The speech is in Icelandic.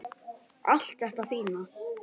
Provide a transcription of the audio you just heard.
Allt þetta fína.